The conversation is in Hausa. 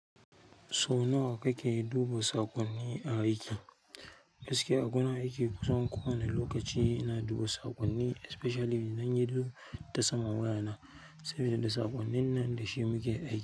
Sau nawa kake duba saƙonni a aiki? Gaskiya a gurin aiki kusan kowani lokaci ina duba saƙonni especially idan ya zo ta saman wayana saboda da saƙonnin nan da shi muke aiki.